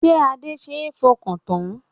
Ṣé Adé ṣe é fọkàn tán?